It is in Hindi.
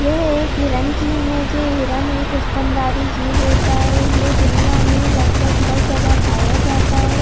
ये एक हिरण की इमेज हैहिरण एक स्तनधारी जीव होता है ये दुनिया मे लगभग हर जगह पाया जाता जाता है।